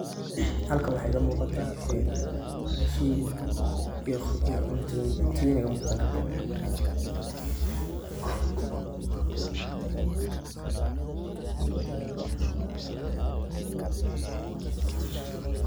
Halkan waxaa iiga muuqataa raashin iyo cuntooyin.